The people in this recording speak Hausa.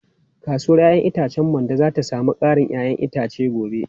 Kasuwar 'ya'yan itacen Mando za ta sami karin 'ya'yan itace gobe.